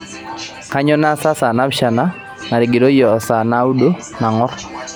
kainyoo naasa saa naapishana natigiroyie o saa naudo nang'or